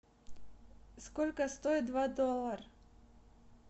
сколько стоит два доллара